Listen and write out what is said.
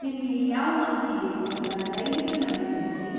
ನಿಮ್ಗೆ ಯಾವ್ ಮಾಹಿತಿ ಬೇಕು ಅಂತ ದಯ್ವಿಟ್ಟು ನಮ್ಗೆ ತಿಳ್ಸಿ.